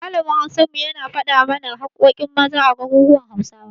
Malamin Hausar mu, yana faɗa mana haƙƙoƙin Maza a garuruwan Hausawa.